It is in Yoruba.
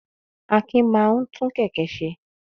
Akin máa ń tú kẹ̀kẹ́ ṣe.